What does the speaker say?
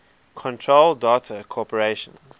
control data corporation